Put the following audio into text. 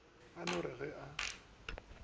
o no re ge a